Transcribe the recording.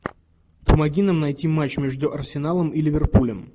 помоги нам найти матч между арсеналом и ливерпулем